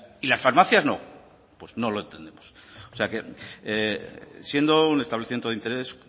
y las farmacias no pues no lo entendemos o sea que siendo un establecimiento de interés